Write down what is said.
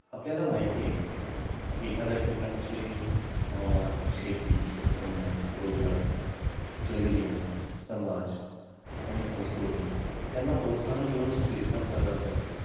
आपल्याला माहीत आहे की एखाद्या ठिकाणची हवामान शेतीउत्पन्न, रोजगार, जल जीवन, समाज आणि संस्कृती यांना प्रोत्साहन देऊन स्थिरता प्रदान करते